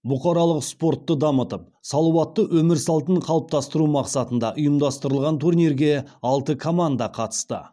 бұқаралық спортты дамытып салауатты өмір салтын қалыптастыру мақсатында ұйымдастырылған турнирге алты команда қатысты